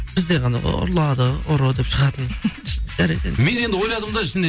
бізде ғана ғой ұрлады ұры деп шығатын жарайды енді мен енді ойладым да ішінде